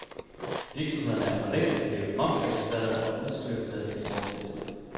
Virksomhederne er for længst blevet momsregistrerede og udstyret med eksporttilskud.